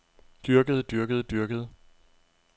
dyrkede dyrkede dyrkede